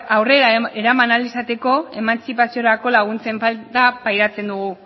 aurrera eraman ahal izateko emantzipaziorako laguntzen falta pairatzen dugu